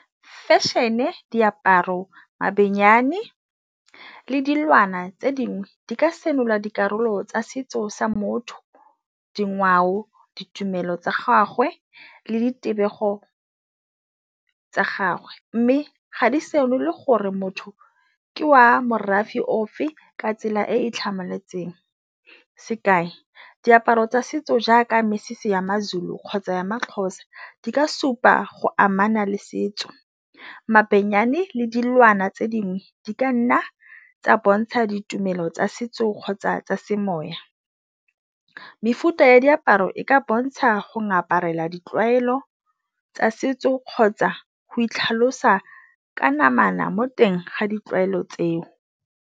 Fashion-e, diaparo, mabenyane le dilwana tse dingwe di ka senola dikarolo tsa setso sa motho, dingwao, ditumelo tsa gagwe le ditebego tsa gagwe, mme ga di senole gore motho ke wa morafe ofe ka tsela e e tlhamaletseng. Sekai, diaparo tsa setso jaaka mesese ya maZulu kgotsa ya maXhosa di ka supa go amana le setso, mabenyane le dilwana tse dingwe di ka nna tsa bontsha ditumelo tsa setso kgotsa tsa semoya. Mefuta ya diaparo e ka bontsha go ngaparela ditlwaelo tsa setso kgotsa go itlhalosa ka namana mo teng ga ditlwaelo tseo.